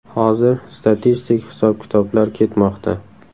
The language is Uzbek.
Hozir statistik hisob-kitoblar ketmoqda.